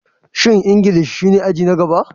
Shin Ingilishi shine aji na gaba?